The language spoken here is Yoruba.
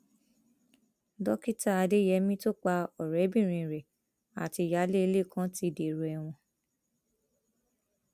dókítà adeyemi tó pa ọrẹbìnrin rẹ àti ìyáálé ilé kan ti dèrò ẹwọn